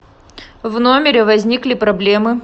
в номере возникли проблемы